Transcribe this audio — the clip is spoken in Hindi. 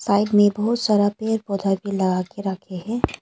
साइड में बहुत सारा पेड़ पौधा भी लगा के रख के है।